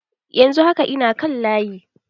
Yanzu haka, ina kan layi.